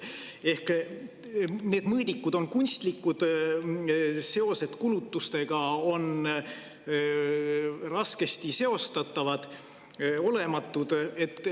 Ehk need mõõdikud on kunstlikud, seosed kulutustega on raskesti seostatavad või olematud.